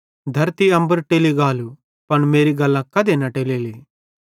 धरती अम्बर टेली गालू पन मेरी गल्लां कधे न टेलेली